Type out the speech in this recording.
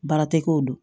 Baara tɛ k'o don